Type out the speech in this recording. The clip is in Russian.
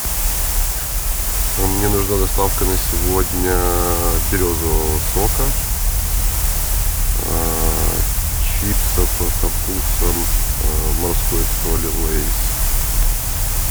мне нужна доставка на сегодня березового сока чипсов со вкусом морской соли лейс